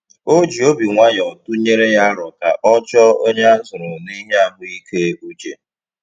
O ji obi nwayọ tụnyere ya aro ka ọ chọọ onye a zụrụ n'ihe ahụ ike uche.